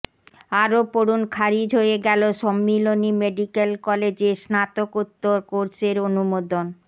আরও পড়ুন খারিজ হয়ে গেল সম্মিলনি মেডিক্যাল কলেজে স্নাতকোত্তর কোর্সের অনুমোদন